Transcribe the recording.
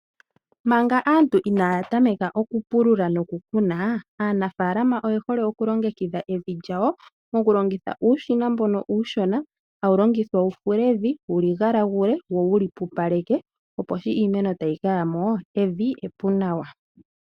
Manga aantu inaatameka oku pulula noku kuna, aanafalama oye hole oku longekidha evi lyawo mokulongitha uushina mbono uushona hawu longithwa wufule evi wuligalagule wo wuli pupaleke, opo shi iimeno ta yi kaya mo, evi epu nawa.